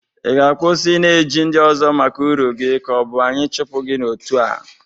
Ị ga-akwụsị ị na-eji ndị ọzọ maka ụrụ gi ka ọ bụ anyị chụpụ gị n'otu a?